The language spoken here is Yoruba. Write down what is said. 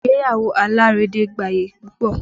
Ìgbéyàwó alárédè gbayì púpọ̀